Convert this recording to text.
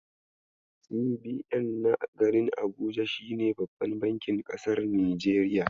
CBN na garin Abuja shine babban bankin ƙasar Nijeriya.